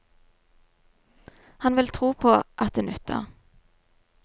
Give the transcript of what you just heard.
Han vil tro på at det nytter.